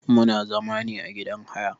Muna zama ne a gidan haya.